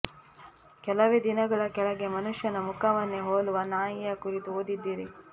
ಕೆಲವೇ ದಿನಗಳ ಕೆಳಗೆ ಮನುಷ್ಯನ ಮುಖವನ್ನೇ ಹೋಲುವ ನಾಯಿಯ ಕುರಿತು ಓದಿದ್ದಿರಿ